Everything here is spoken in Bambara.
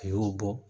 A y'o bɔ